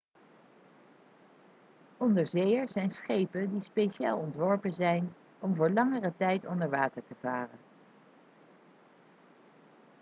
onderzeeërs zijn schepen die speciaal ontworpen zijn om voor langere tijd onder water te varen